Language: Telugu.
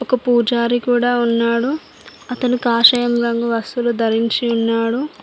ఒక పూజారి కూడా ఉన్నాడు అతను కాషాయం రంగు వస్తువులు ధరించి ఉన్నాడు.